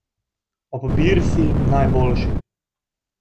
Ob Birsi najboljši.